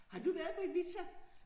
Har du været på Ibiza?